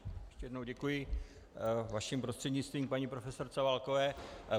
Ještě jednou děkuji vaším prostřednictvím paní profesorce Válkové.